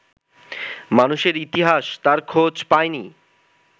মানুষের ইতিহাস তার খোঁজ পায়নি